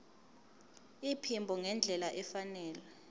iphimbo ngendlela efanele